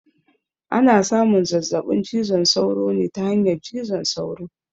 Ana samun zazzaɓin cizon sauro ne ta hanyar cizon sauro